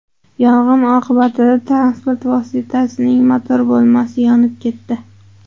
Yong‘in oqibatida transport vositasining motor bo‘lmasi yonib ketdi.